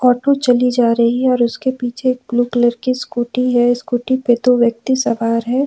Auto चली जा रही है और उसके पिछे एक ब्लू कलर की स्कूटी है स्कूटी पर दो व्यक्ति सवार है।